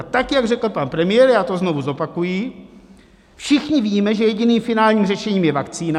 A tak jak řekl pan premiér, já to znovu zopakuji: Všichni víme, že jediným finálním řešením je vakcína.